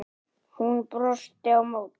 Hún brosti á móti.